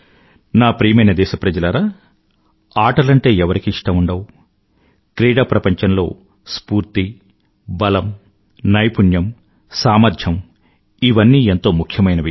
నా ప్రియమైన దేశప్రజలారా ఆటలంటే ఎవరికి ఇష్టం ఉండవు క్రీడాప్రపంచంలో స్ఫూర్తి బలం నైపుణ్యం సామర్థ్యం ఇవన్నీ ఎంతో ముఖ్యమైనవి